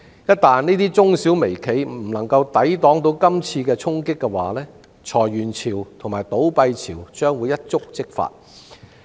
一旦這些中小微企不能夠抵擋今次衝擊，裁員潮和倒閉潮將會一觸即發。